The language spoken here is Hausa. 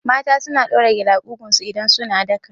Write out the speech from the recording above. Mata suna ɗaura gele a ƙugun su idan suna daka